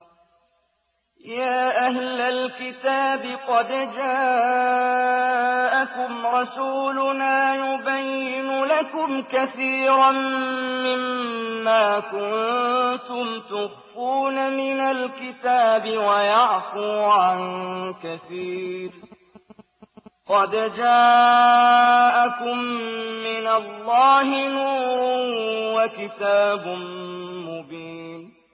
يَا أَهْلَ الْكِتَابِ قَدْ جَاءَكُمْ رَسُولُنَا يُبَيِّنُ لَكُمْ كَثِيرًا مِّمَّا كُنتُمْ تُخْفُونَ مِنَ الْكِتَابِ وَيَعْفُو عَن كَثِيرٍ ۚ قَدْ جَاءَكُم مِّنَ اللَّهِ نُورٌ وَكِتَابٌ مُّبِينٌ